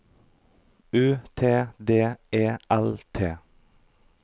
U T D E L T